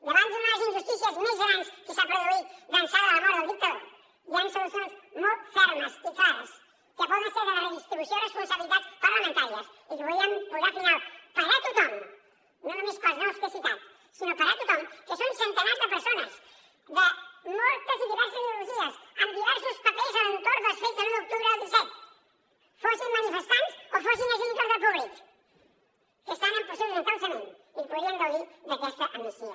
davant d’una de les injustícies més grans que s’ha produït d’ençà de la mort del dictador hi han solucions molt fermes i clares que poden ser la redistribució de responsabilitats parlamentàries i que podrien posar final per a tothom no només per als noms que he citat sinó per a tothom que són centenars de persones de moltes i diverses ideologies amb diversos papers a l’entorn dels fets de l’un d’octubre del disset fossin manifestants o fossin agents d’ordre públic que estan en procés d’un encausament i que podrien gaudir d’aquesta amnistia